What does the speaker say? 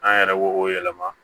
An yɛrɛ b'o o yɛlɛma